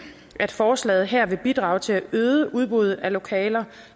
at forslaget her vil bidrage til at øge udbuddet af lokaler